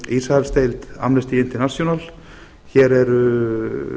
hér er meðal annars ísraelsdeild amnesty international hér eru